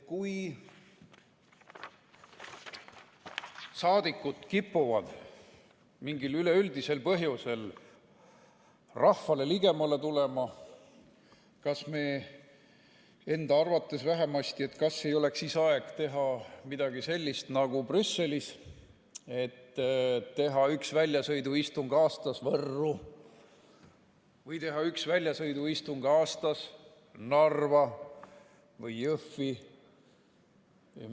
Kui saadikud kipuvad mingil üleüldisel põhjusel rahvale ligemale tulema, enda arvates vähemasti, kas ei oleks aeg teha siis midagi sellist nagu Brüsselis, üks väljasõiduistung aastas Võrru või üks väljasõiduistung aastas Narva või Jõhvi?